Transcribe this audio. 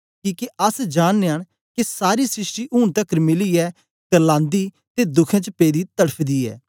किके अस जाननयां न के सारी सृष्टि ऊन तकर मिलीयै क्र्लांदी ते दुखें च पेदी तड़फा दी ऐ